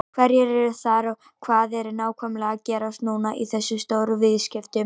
Hverjir eru þar og hvað er nákvæmlega að gerast núna í þessum stóru viðskiptum?